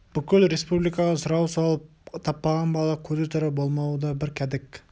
бүкіл республикаға сұрау салып таппаған бала көзі тірі болмауы да бір кәдік